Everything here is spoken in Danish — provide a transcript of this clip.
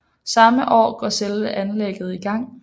Samme år går selve anlægget i gang